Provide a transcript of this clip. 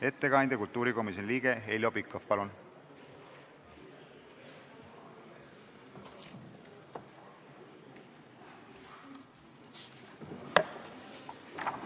Ettekandja kultuurikomisjoni liige Heljo Pikhof, palun!